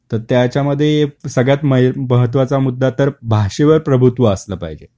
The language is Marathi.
तर त्याच्या मध्ये सगळ्यात महत्त्वाचा मुद्दा तर भाषेवर प्रभुत्व असल पाहिजे. बरोबर